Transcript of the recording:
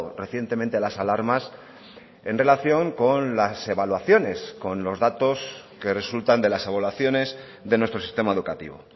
recientemente las alarmas en relación con las evaluaciones con los datos que resultan de las evaluaciones de nuestro sistema educativo